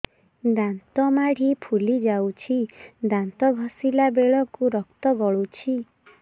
ଦାନ୍ତ ମାଢ଼ୀ ଫୁଲି ଯାଉଛି ଦାନ୍ତ ଘଷିଲା ବେଳକୁ ରକ୍ତ ଗଳୁଛି